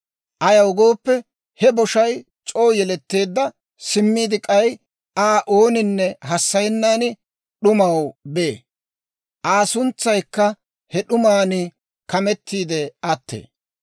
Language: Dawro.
Ayaw gooppe, he boshay c'oo yeletteedda; simmiide k'ay, Aa ooninne hassayenna d'umaw bee; Aa suntsaykka he d'uman kamettiide attee.